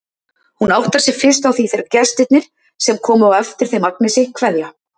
Hún áttar sig fyrst á því þegar gestirnir, sem komu á eftir þeim Agnesi, kveðja.